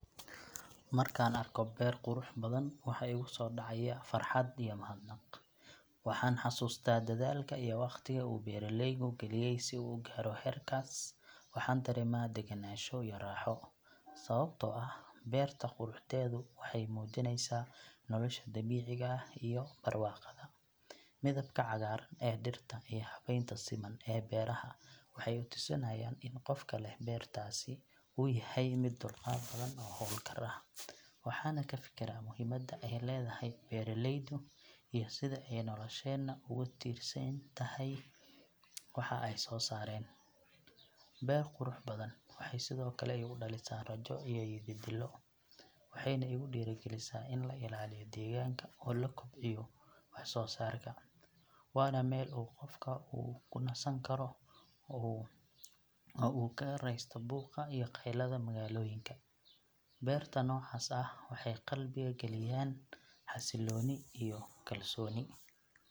Markaan arko beer qurux badan, waxa igu soo dhacaya farxad iyo mahadnaq. Waxaan xasuustaa dadaalka iyo wakhtiga uu beeraleygu geliyey si uu u gaaro heerkaas. Waxaan dareemaa degenaansho iyo raaxo, sababtoo ah beerta quruxdeedu waxay muujinaysaa nolosha dabiiciga ah iyo barwaaqada. Midabka cagaaran ee dhirta iyo habeynta siman ee beeraha waxay i tusinayaan in qofka leh beertaasi uu yahay mid dulqaad badan oo hawlkar ah. Waxaan ka fikiraa muhiimadda ay leedahay beeraleydu iyo sida ay nolosheenna ugu tiirsan tahay waxa ay soo saaraan. Beer qurux badan waxay sidoo kale igu dhalisaa rajo iyo yididiilo, waxayna igu dhiirigelisaa in la ilaaliyo deegaanka oo la kobciyo wax soo saarka. Waana meel uu qofku ku nasan karo oo uu kaga raysto buuqa iyo qaylada magaalooyinka. Beerta noocaas ah waxay qalbiga geliyaan xasilooni iyo kalsooni.